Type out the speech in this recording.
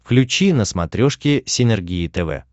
включи на смотрешке синергия тв